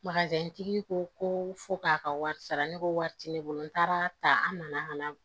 tigi ko ko fo k'a ka wari sara ne ko wari tɛ ne bolo n taara ta an nana ka na